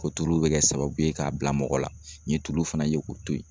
Ko tulu bɛ kɛ sababu ye k'a bila mɔgɔ la, n ye tulu fana ye k'o to ye.